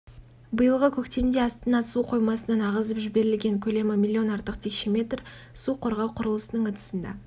биылғы көктемде астана су қоймасынан ағызып жіберілген көлемі миллион артық текше метр су қорғау құрылысының ыдысында